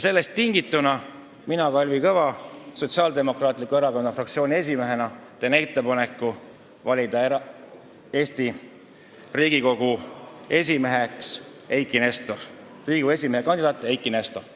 Sellest tingituna teen mina, Kalvi Kõva, Sotsiaaldemokraatliku Erakonna fraktsiooni esimehena ettepaneku valida Riigikogu esimeheks Riigikogu esimehe kandidaat Eiki Nestor.